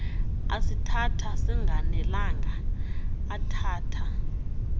asithatha singanelanga athatha